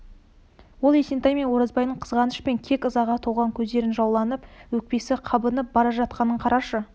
ол есентай мен оразбайдың қызғаныш пен кек ызаға толған көздері жауланып өкпесі қабынып бара жатқанын қарашы